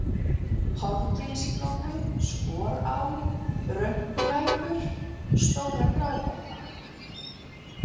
Hofgilsflói, Skorá, Rönkulækur, Stóra-Gráhella